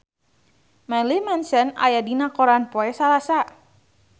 Marilyn Manson aya dina koran poe Salasa